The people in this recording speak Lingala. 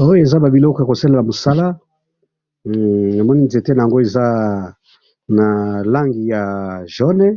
Oyo eza ba biloko yako salela mosala, namoni nzete nango eza na langi ya jaune,